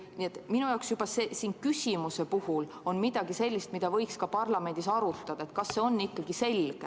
Nii et minu jaoks on juba selles küsimuses midagi sellist, mida võiks parlamendis arutada, et kas see on ikkagi selge.